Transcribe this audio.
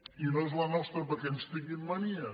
i no és la nos·tra perquè ens tinguin mania